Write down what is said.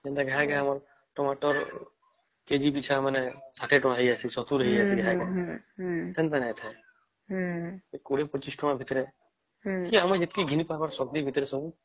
ଯେନ୍ତା ଘାଇ କେ ଆମର ଟମାଟର kg ପିଛା ୬୦୭୦ ହେଇ ଯେଇସେ ସେମିତି ନାଇଁ ଏ ୨୦୨୫ ଟଙ୍କା ଭିତରେ କି ଆମେ ଯେତିକି ଘିନି ପାରିବ ଏ ଆମର ଶକ୍ତି ଭିତରେ ସବୁ